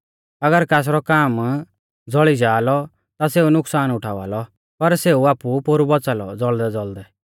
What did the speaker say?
अगर कासरौ काम ज़ौल़ी जा लौ ता सेऊ नुकसान उठावा लौ पर सेऊ आपु पोरु बौच़ा लौ ज़ौल़दैज़ौल़दै